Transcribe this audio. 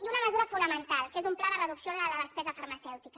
i una mesura fonamental que és un pla de reducció de la despesa farmacèutica